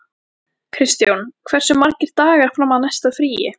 Kristjón, hversu margir dagar fram að næsta fríi?